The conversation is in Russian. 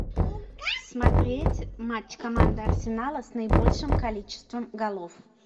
смотреть матч команды арсенала с наибольшим количеством голов